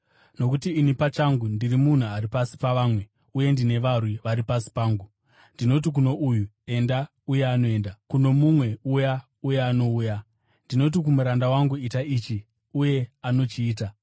Nokuti ini pachangu, ndiri munhu ari pasi pavamwe, uye ndine varwi vari pasi pangu. Ndinoti kuno uyu, ‘Enda,’ uye anoenda, kuno mumwe, ‘Uya’ uye anouya. Ndinoti kumuranda wangu, ‘Ita ichi,’ uye anochiita.”